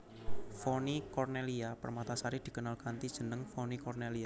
Vonny Cornellya Permatasari dikenal kanthi jeneng Vonny Cornelia